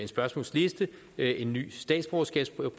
spørgsmålsliste en ny statsborgerskabsprøve